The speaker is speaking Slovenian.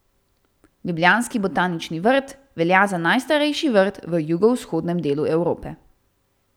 Ljubljanski Botanični vrt velja za najstarejši vrt v jugovzhodnem delu Evrope.